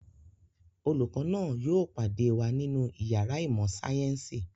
Olùkọ́ náà yóò pàdé wa nínú ìyàrá ìmọ̀-sáyẹ́ńsì.